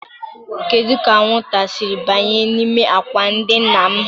Kedu ka anwụnta a siri banye n'ime ákwà ndina m?